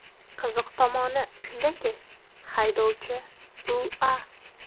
Qiziq tomoni shundaki, haydovchi U.A.